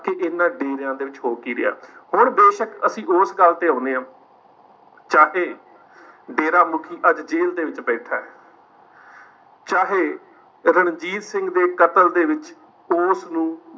ਕਿ ਇਹਨਾਂ ਡੇਰਿਆਂ ਦੇ ਵਿੱਚ ਹੋ ਕੀ ਰਿਹਾ ਹੁਣ ਬੇਸ਼ਕ ਅਸੀਂ ਉਸ ਗੱਲ ਤੇ ਆਉਂਦੇ ਹਾਂ ਚਾਹੇ ਡੇਰਾ ਮੁੱਖੀ ਅੱਜ ਜ਼ੇਲ੍ਹ ਦੇ ਵਿੱਚ ਬੈਠਾ ਹੈ ਚਾਹੇ ਰਣਜੀਤ ਸਿੰਘ ਦੇ ਕਤਲ ਦੇ ਵਿੱਚ ਉਸਨੂੰ